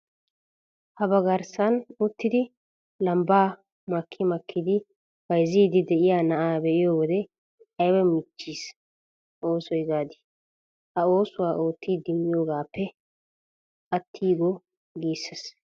Habgarssan uttidi lambbaa makki makkidi bayzziiddi de'iya na'aa be'iyo wode ayba michissiya ooso gaadii. Ha oosuwa oottidi miyogaappe attiigo giissees.